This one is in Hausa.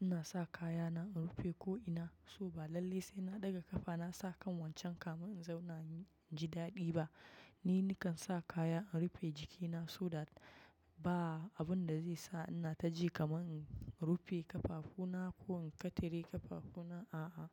ina sa kayana in rufe ko ina so ba. Lallai sai na ɗaga ƙafa na sa kan wancan kamin in zauna inji daɗi ba. Ni nikan sa kaya in rufe jikina so that ba abun da zai sa ina taji kamar in rufe ƙafafuna ko in kitire ƙafafuna, a a.